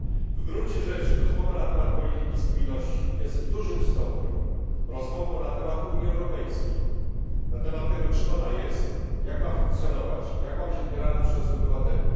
W gruncie rzeczy rozmowa na temat polityki spójności jest w dużym stopniu rozmową na temat Unii Europejskiej, na temat tego, czym ona jest, jak ma funkcjonować, jak ma być odbierana przez obywateli.